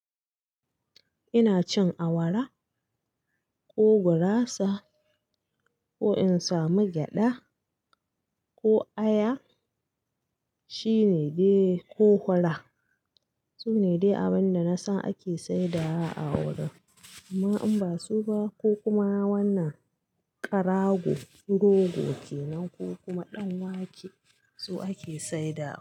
Ina cin awara ko gurasa ko in samu gyada ko aya shine dai ko hura Su ne dai abin da nasan ake saida a wurin amma in basu ba ko kuma wannan karago rogo kenan ko kuma danwake su ake saida.